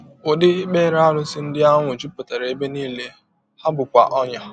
Ụdị ikpere arụsị ndị ahụ jupụtara ebe nile, ha bụkwa ọnyà.